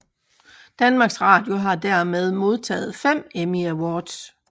Danmarks Radio har dermed modtaget fem Emmy Awards